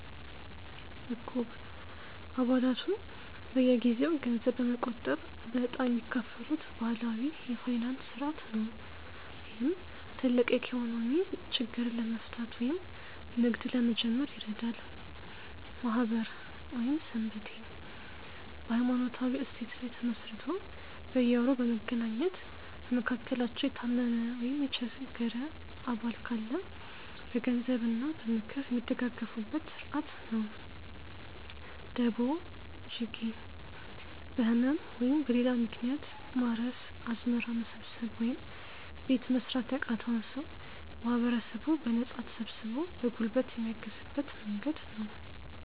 ዕቁብ፦ አባላቱ በየጊዜው ገንዘብ በመቆጠብ በዕጣ የሚካፈሉበት ባህላዊ የፋይናንስ ሥርዓት ነው፣ ይህም ትልቅ የኢኮኖሚ ችግርን ለመፍታት ወይም ንግድ ለመጀመር ይረዳል። ማኅበር / ሰንበቴ፦ በሃይማኖታዊ እሴት ላይ ተመስርቶ በየወሩ በመገናኘት፣ በመካከላቸው የታመመ ወይም የቸገረ አባል ካለ በገንዘብ እና በምክር የሚደጋገፉበት ሥርዓት ነው። ደቦ (ጂጌ)፦ በህመም ወይም በሌላ ምክንያት ማረስ፣ አዝመራ መሰብሰብ ወይም ቤት መሥራት ያቃተውን ሰው ማህበረሰቡ በነፃ ተሰብስቦ በጉልበት የሚያግዝበት መንገድ ነው።